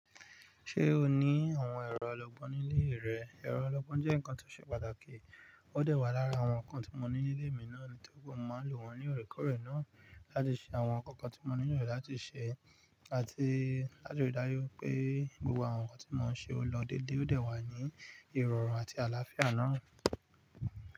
Ṣé o ní àwọn ẹ̀rọ alogbon nílé rẹ? Ẹ̀rọ alogbon jẹ́ nǹkan tó ṣe pàtàkì, ó dẹ̀ wà lára àwọn nǹkan tí mo ní nílé mi náà, nítoripe mo máa lò wọ́n ní òrèkóòrè náà láti ṣe àwọn nnkan kan tí mo nílo láti ṣe àti láti rí dájú pé gbogbo àwọn nǹkan tí mo ń ṣe ó lọ dédé ó dẹ̀ wà ní ìrọ̀rùn àti àlàáfíà náà.